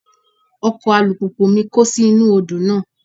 Ọkọ̀ alùpùpù mi kó sí inú Odò náà.